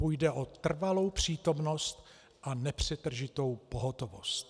Půjde o trvalou přítomnost a nepřetržitou pohotovost.